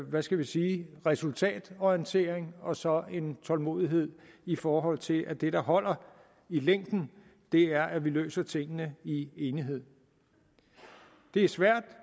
hvad skal vi sige resultatorientering og så en tålmodighed i forhold til at det der holder i længden er at vi løser tingene i enighed det er svært